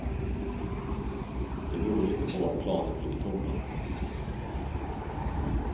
Det beror inte på att planen flyger tomma.